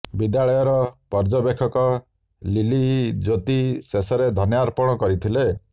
ବିଦ୍ୟାଳୟର ପର୍ଯ୍ୟବେକ୍ଷକ ଲିଲଇ ଜ୍ୟୋତି ଶେଷର ଧନ୍ୟବାଦ ଅର୍ପଣ କରିଥିଲେ